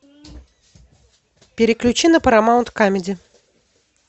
переключи на парамаунт камеди